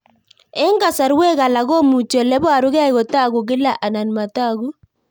Eng' kasarwek alak komuchi ole parukei kotag'u kila anan matag'u